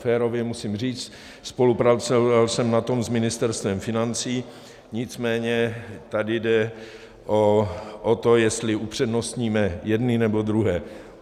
Férově musím říct, spolupracoval jsem na tom s Ministerstvem financí, nicméně tady jde o to, jestli upřednostníme jedny, nebo druhé.